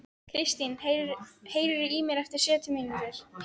Kristin, heyrðu í mér eftir sjötíu mínútur.